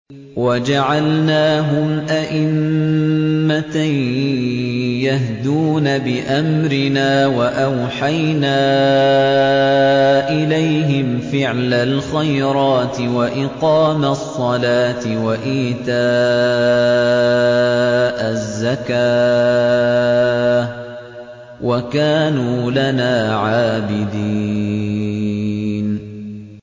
وَجَعَلْنَاهُمْ أَئِمَّةً يَهْدُونَ بِأَمْرِنَا وَأَوْحَيْنَا إِلَيْهِمْ فِعْلَ الْخَيْرَاتِ وَإِقَامَ الصَّلَاةِ وَإِيتَاءَ الزَّكَاةِ ۖ وَكَانُوا لَنَا عَابِدِينَ